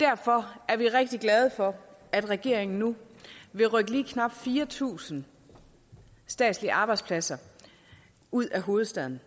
derfor er vi rigtig glade for at regeringen nu vil rykke lige knap fire tusind statslige arbejdspladser ud af hovedstaden